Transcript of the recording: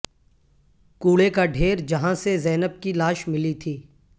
کوڑے کا ڈھیر جہاں سے زینب کی لاش ملی تھی